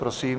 Prosím.